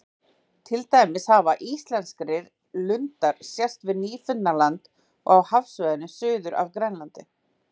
Til dæmis hafa íslenskri lundar sést við Nýfundnaland og á hafsvæðinu suður af Grænlandi.